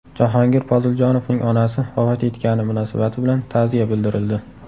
Jahongir Poziljonovning onasi vafot etgani munosabati bilan ta’ziya bildirildi.